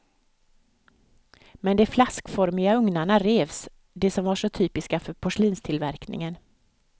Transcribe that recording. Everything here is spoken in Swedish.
Men de flaskformiga ugnarna revs, de som var så typiska för porslinstillverkningen.